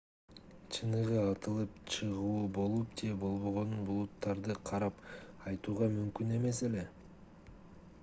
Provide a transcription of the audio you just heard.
чыныгы атылып чыгуу болуп же болбогонун булуттарды карап айтууга мүмкүн эмес эле